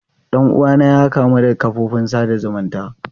Dan uwana ya kamu da kafofin sada zumunci.